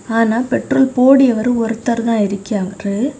ஆனா பெட்ரோல் போட்றவரு ஒருத்தர் தான் இருக்யவாரு.